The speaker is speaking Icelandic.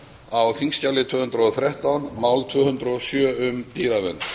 á þingskjali tvö hundruð og þrettán mál tvö hundruð og sjö um dýravernd